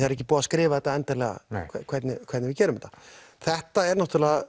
er ekki búið að skrifa þetta endanlega hvernig hvernig við gerum þetta þetta er